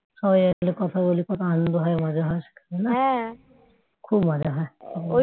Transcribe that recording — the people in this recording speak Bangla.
সবাই এলে কথা বললে কত আনন্দ হয় মজা হয় খুব মজা হয়